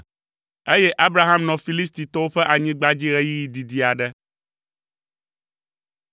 Eye Abraham nɔ Filistitɔwo ƒe anyigba dzi ɣeyiɣi didi aɖe.